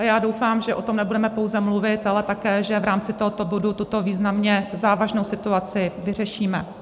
A já doufám, že o tom nebudeme pouze mluvit, ale také že v rámci tohoto bodu tuto významně závažnou situaci vyřešíme.